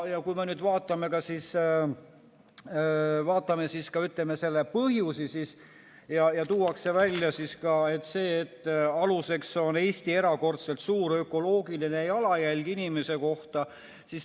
Kui me vaatame selle põhjusi, siis tuuakse välja see, et aluseks on Eesti erakordselt suur ökoloogiline jalajälg inimese kohta.